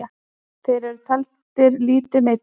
Þeir eru taldir lítið meiddir.